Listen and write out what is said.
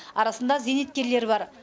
арасында зейнеткерлер бар